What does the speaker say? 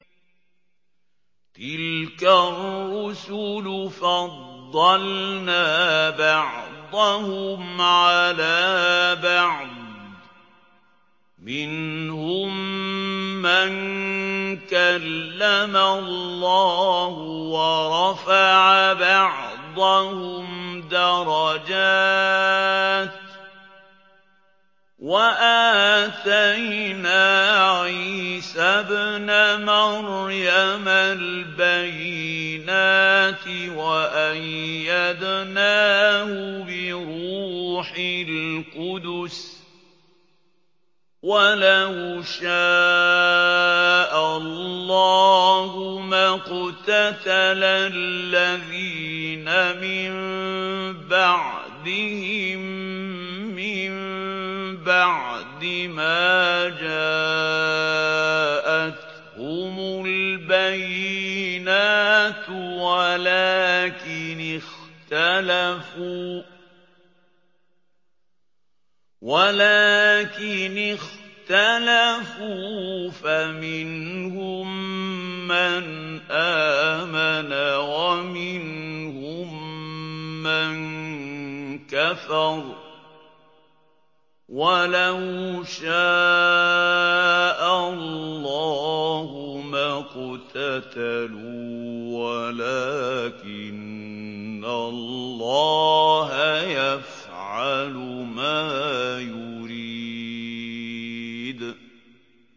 ۞ تِلْكَ الرُّسُلُ فَضَّلْنَا بَعْضَهُمْ عَلَىٰ بَعْضٍ ۘ مِّنْهُم مَّن كَلَّمَ اللَّهُ ۖ وَرَفَعَ بَعْضَهُمْ دَرَجَاتٍ ۚ وَآتَيْنَا عِيسَى ابْنَ مَرْيَمَ الْبَيِّنَاتِ وَأَيَّدْنَاهُ بِرُوحِ الْقُدُسِ ۗ وَلَوْ شَاءَ اللَّهُ مَا اقْتَتَلَ الَّذِينَ مِن بَعْدِهِم مِّن بَعْدِ مَا جَاءَتْهُمُ الْبَيِّنَاتُ وَلَٰكِنِ اخْتَلَفُوا فَمِنْهُم مَّنْ آمَنَ وَمِنْهُم مَّن كَفَرَ ۚ وَلَوْ شَاءَ اللَّهُ مَا اقْتَتَلُوا وَلَٰكِنَّ اللَّهَ يَفْعَلُ مَا يُرِيدُ